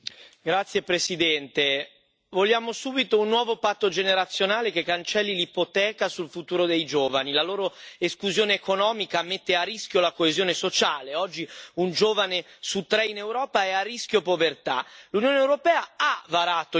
Signora Presidente, onorevoli colleghi, vogliamo subito un nuovo patto generazionale che cancelli l'ipoteca sul futuro dei giovani. La loro esclusione economica mette a rischio la coesione sociale oggi un giovane su tre in Europa è a rischio povertà.